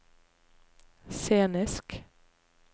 scenisk